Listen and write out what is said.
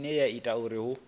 ine ya ita uri hu